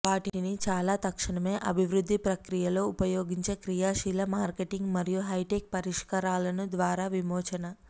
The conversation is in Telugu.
వాటిని చాలా తక్షణమే అభివృద్ధి ప్రక్రియలో ఉపయోగించే క్రియాశీల మార్కెటింగ్ మరియు హైటెక్ పరిష్కారాలను ద్వారా విమోచన